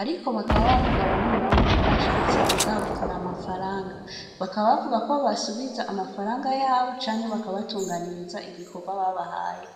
ariko bakaba bavuga bamwe bamwe bashatse kugavura amafaranga, bakaba bavugako bobasubiza amafaranga yabo canke bakabatunganiriza igikorwa babahaye.